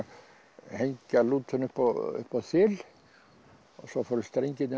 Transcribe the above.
hengja lútuna upp á þil og svo fóru strengirnir